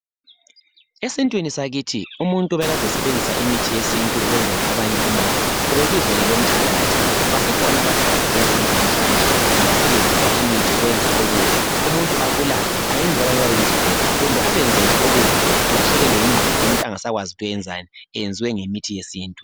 Esintwinini sakithi umuntu obekade esebenzisa imithi yesintu ukwenzela abanye umona ube bizwa ngelomthakathi basekhona abathakathi lasensukwini zanamuhlanje abasebenza imithi ukwenza okubi umuntu abulale ayenze abanye babeyizigoga kumbe abenze nje okubi alahlekelwe yingqondo umuntu angasakwazi ukuthi uyenzani eyenziwe ngemithi yesintu